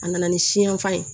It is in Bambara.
A nana ni siyanfan ye